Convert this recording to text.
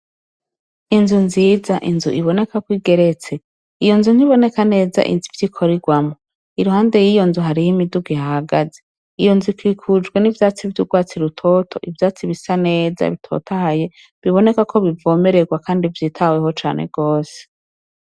Inzu nziza inzu iboneka ko igeretse iyo nzu ntiboneka neza ivyo ikorerwamwo iruhande y'iyo nzu hariho imiduga ihahagaze iyo nzu ikikujwe n'ivyatsi vy'urwatsi rutoto ivyatsi bisa neza bitotahaye biboneka ko bivomererwa kandi vyitaweho cane rwose.